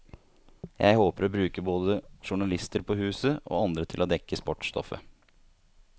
Jeg håper å bruke både journalister på huset, og andre til å dekke sportsstoffet.